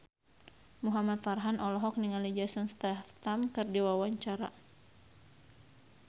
Muhamad Farhan olohok ningali Jason Statham keur diwawancara